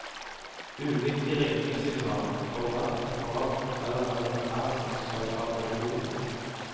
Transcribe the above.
Ulike ringesignal for hvert apparat forteller hvem det er som skal ta telefonen.